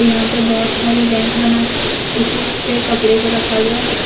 यहां पे बहोत सारे रैंक बनाकर इस पर कपड़े को रखा गया है।